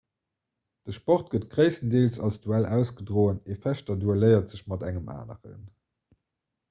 de sport gëtt gréisstendeels als duell ausgedroen ee fechter duelléiert sech mat engem aneren